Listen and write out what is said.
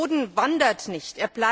Boden wandert nicht.